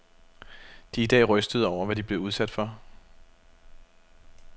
De er i dag rystede over, hvad de blev udsat for.